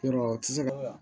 Yɔrɔ u tɛ se ka